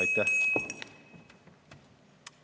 Aitäh!